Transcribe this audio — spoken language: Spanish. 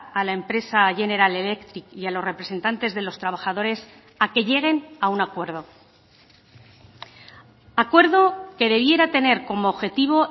a la empresa general electric y a los representantes de los trabajadores a que lleguen a un acuerdo acuerdo que debiera tener como objetivo